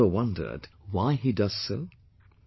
Have you ever wondered why he does so